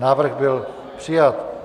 Návrh byl přijat.